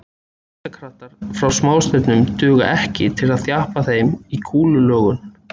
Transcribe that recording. Þyngdarkraftar frá smástirnum duga ekki til að þjappa þeim í kúlulögun.